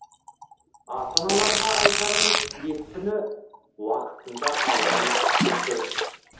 ата аналарға айтарымыз екпіні уақытында алған дұрыс